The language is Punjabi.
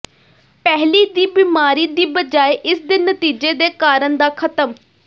ਪਹਿਲੀ ਦੀ ਬਿਮਾਰੀ ਦੀ ਬਜਾਏ ਇਸ ਦੇ ਨਤੀਜੇ ਦੇ ਕਾਰਨ ਦਾ ਖ਼ਤਮ